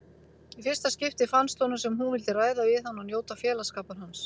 Í fyrsta skipti fannst honum sem hún vildi ræða við hann og njóta félagsskapar hans.